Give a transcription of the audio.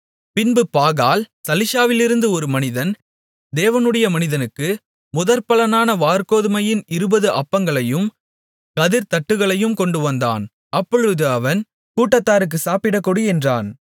பின்பு பாகால் சலீஷாவிலிருந்து ஒரு மனிதன் தேவனுடைய மனிதனுக்கு முதற்பலனான வாற்கோதுமையின் இருபது அப்பங்களையும் கதிர்த்தட்டுகளையும் கொண்டுவந்தான் அப்பொழுது அவன் கூட்டத்தாருக்குச் சாப்பிடக்கொடு என்றான்